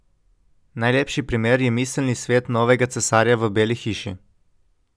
Najlepši primer je miselni svet novega cesarja v beli hiši.